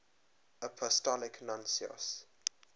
apostolic nuncios